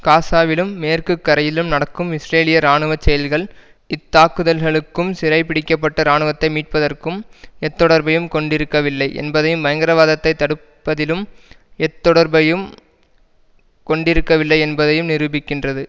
காசாவிலும் மேற்கு கரையிலும் நடக்கும் இஸ்ரேலிய இராணுவ செயல்கள் இத்தாக்குதல்களுக்கும் சிறைபிடிக்கப்பட்ட இராணுவத்தை மீட்பதற்கும் எத்தொடர்பையும் கொண்டிருக்கவில்லை என்பதையும் பயங்கரவாதத்தை தடுப்பதிலும் எத்தொடர்பையும் கொண்டிருக்கவில்லை என்பதையும் நிரூபிக்கின்றது